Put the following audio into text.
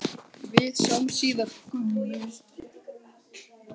Við sjáumst síðar, Gummi.